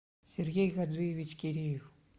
сергей гаджиевич кириев